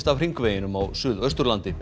af hringveginum á Suðausturlandi